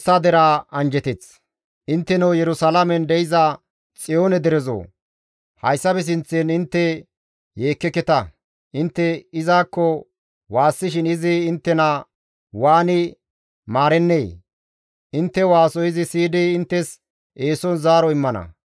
Intteno Yerusalaamen de7iza Xiyoone derezoo! Hayssafe sinththan intte yeekkeketa; intte izakko waassishin izi inttena waani maarennee? Intte waaso izi siyidi inttes eeson zaaro immana.